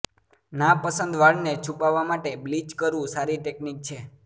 નાપસંદ વાળ ને છુપાવવા માટે બ્લીચ કરવું સારી ટેકનીક છે